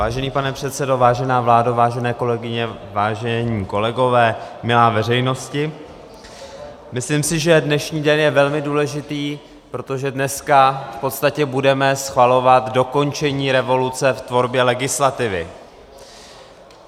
Vážený pane předsedo, vážená vládo, vážené kolegyně, vážení kolegové, milá veřejnosti, myslím si, že dnešní den je velmi důležitý, protože dneska v podstatě budeme schvalovat dokončení revoluce v tvorbě legislativy.